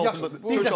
O çox güclü oyunçudur.